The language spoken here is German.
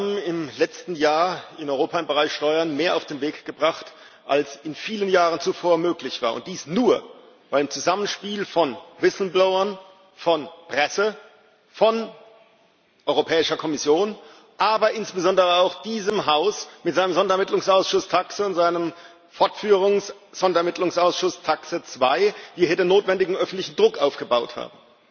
Wir haben im letzten Jahr in Europa im Bereich Steuern mehr auf den Weg gebracht, als in vielen Jahren zuvor möglich war, und dies nur, weil wir im Zusammenspiel von Whistleblowern, von Presse, von Europäischer Kommission, aber insbesondere auch diesem Haus mit seinem Sonderermittlungsausschuss TAXE und seinem Fortführungs Sonderermittlungsausschuss TAXE 2 hier den notwendigen öffentlichen Druck aufgebaut haben.